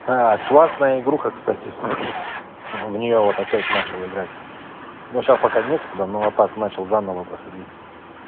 классная игруха кстати в неё вот опять начал играть но сейчас пока некогда ну а так начал заново проходить